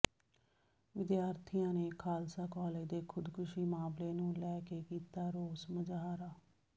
ਵਿਦਿਆਰਥੀਆਂ ਨੇ ਖਾਲਸਾ ਕਾਲਜ ਦੇ ਖੁਦਕੁਸ਼ੀ ਮਾਮਲੇ ਨੂੰ ਲੈ ਕੇ ਕੀਤਾ ਰੋਸ ਮੁਜ਼ਾਹਰਾ